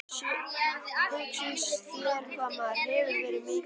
Hugsaðu þér hvað maður hefur verið mikið barn.